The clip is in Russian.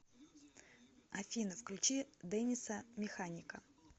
афина включи дэниса механика